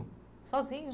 Sozinho?